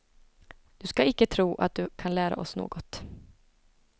Du skall icke tro att du kan lära oss något.